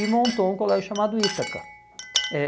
e montou um colégio chamado Ítaca. Eh